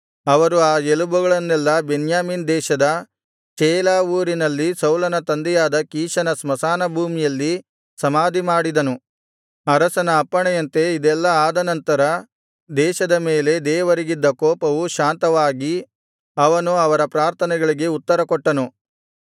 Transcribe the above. ಅವರು ಅ ಎಲಬುಗಳನ್ನೆಲ್ಲಾ ಬೆನ್ಯಾಮೀನ್ ದೇಶದ ಚೇಲಾ ಊರಿನಲ್ಲಿ ಸೌಲನ ತಂದೆಯಾದ ಕೀಷನ ಸ್ಮಶಾನಭೂಮಿಯಲ್ಲಿ ಸಮಾಧಿಮಾಡಿಸಿದನು ಅರಸನ ಅಪ್ಪಣೆಯಂತೆ ಇದೆಲ್ಲಾ ಆದ ನಂತರ ದೇಶದ ಮೇಲೆ ದೇವರಿಗಿದ್ದ ಕೋಪವು ಶಾಂತವಾಗಿ ಅವನು ಅವರ ಪ್ರಾರ್ಥನೆಗಳಿಗೆ ಉತ್ತರಕೊಟ್ಟನು